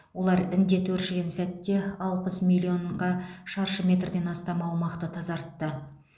олар індет өршіген сәтте алпыс миллионға шаршы метрден астам аумақты тазартты